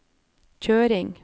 kjøring